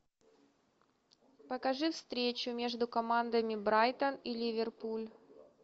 покажи встречу между командами брайтон и ливерпуль